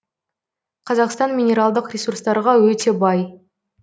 қазақстан минералдық ресурстарға өте бай